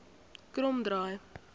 kromdraai